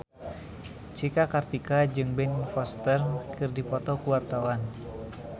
Cika Kartika jeung Ben Foster keur dipoto ku wartawan